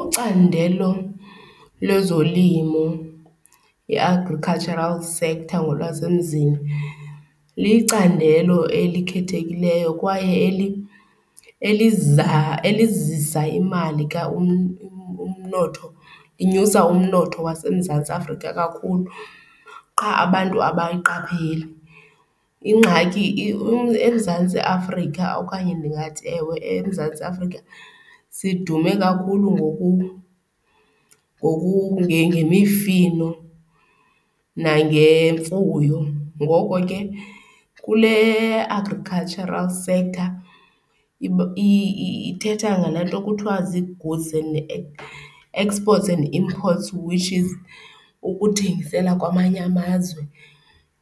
Ucandelo lezolimo, i-agricultural sector ngolwasemzini, licandelo elikhethekileyo kwaye elizisa imali, umnotho. Inyusa umnotho waseMzantsi Afrika kakhulu qha abantu abayiqapheli. Ingxaki eMzantsi Afrika okanye ndingathi, ewe, eMzantsi Afrika sidume kakhulu ngemifino nangemfuyo. Ngoko ke kule agricultural sector ithetha ngalaa nto kuthiwa zii-goods and , exports and imports which is ukuthengisela kwamanye amazwe